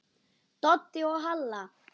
Doddi og Halla!